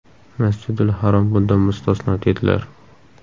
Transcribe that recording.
Masjidul Harom bundan mustasno ”, dedilar.